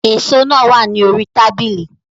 Èso náà wà ní orí tábìlì